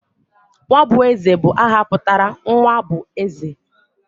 Nwabueze bu aha putara nwa bu eze.